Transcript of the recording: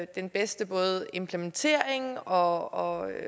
den bedste både implementering og